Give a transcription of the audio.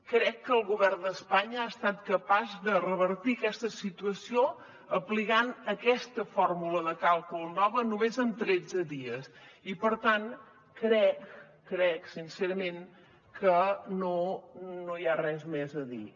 crec que el govern d’espanya ha estat capaç de revertir aquesta situació aplicant aquesta fórmula de càlcul nova només en tretze dies i per tant crec sincerament que no hi ha res més a dir